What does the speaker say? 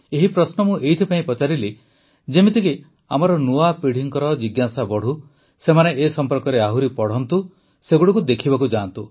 ଏହି ପ୍ରଶ୍ନ ମୁଁ ଏଇଥିପାଇଁ ପଚାରିଲି ଯେପରିକି ଆମର ନୂଆ ପିଢ଼ିର ଜିଜ୍ଞାସା ବଢ଼ୁ ସେମାନେ ଏ ସମ୍ପର୍କରେ ଆହୁରି ପଢ଼ନ୍ତୁ ସେଗୁଡ଼ିକୁ ଦେଖିବାକୁ ଯାଆନ୍ତୁ